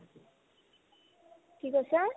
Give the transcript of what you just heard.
কি কৈছা ?